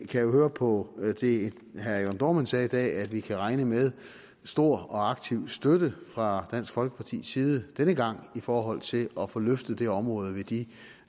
kan høre på det herre jørn dohrmann sagde i dag at vi kan regne med stor og aktiv støtte fra dansk folkepartis side denne gang i forhold til at få løftet det område ved de